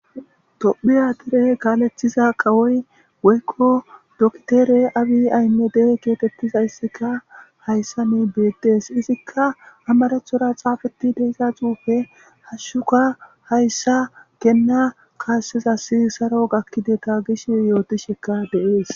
Tophiya dere kaalethiza kawoy woykko dokiteere abi aymedey kietettizayssika hayssa nu beettees izikka amarethora xaafeti deiza xuufe hashshuka hayssa genna kaassezas saro gakkideta gish yootishekka deees